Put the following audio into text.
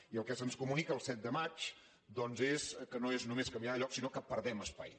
i el que se’ns comunica el set de maig doncs és que no és només canviar de lloc sinó que perdem espai